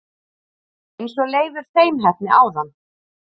eins og Leifur seinheppni áðan!